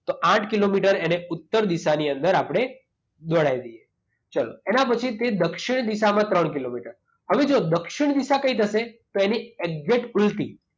તો આઠ કિલોમીટર એને ઉત્તર દિશાની અંદર આપણે દોડાવી દઈએ. ચાલો. એના પછી તે દક્ષિણ દિશામાં ત્રણ કિલોમીટર. હવે જુઓ દક્ષિણ દિશા કઈ થશે? તો એની એક્ઝેટ ઉલ્ટી.